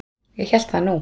Ég hélt það nú!